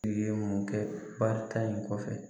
I ye mun kɛ barika in kɔfɛ